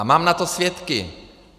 A mám na to svědky.